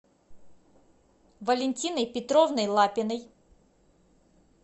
валентиной петровной лапиной